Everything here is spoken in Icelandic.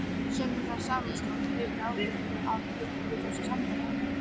Sunna Sæmundsdóttir: Hefurðu áhyggjur af einhverju í þessu sambandi?